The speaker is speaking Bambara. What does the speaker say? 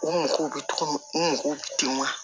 U mako bɛ cogo min u mago bɛ dimɔ